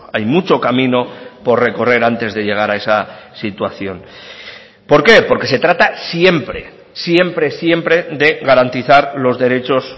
hay mucho camino por recorrer antes de llegar a esa situación por qué porque se trata siempre siempre siempre de garantizar los derechos